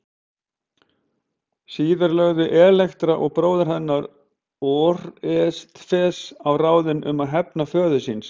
Síðar lögðu Elektra og bróðir hennar Órestes á ráðin um að hefna föður síns.